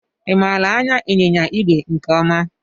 I maara anya ịnyịnya ìgwè nke ọma?